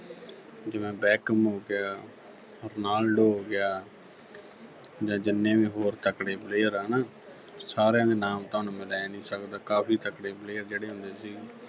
ਜਿਵੇਂ Beckham ਹੋ ਗਿਆ Ronaldo ਹੋ ਗਿਆ ਜਾਂ ਜਿੰਨੇ ਵੀ ਹੋਰ ਤਕੜੇ player ਆ ਨਾ ਸਾਰਿਆਂ ਦੇ ਨਾਮ ਤਾਂ ਹੁਣ ਮੈਂ ਲੈ ਨੀ ਸਕਦਾ ਕਾਫੀ ਤਕੜੇ player ਜਿਹੜੇ ਹੁੰਦੇ ਸੀ